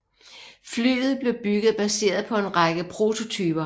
Flyet blev bygget baseret på en række prototyper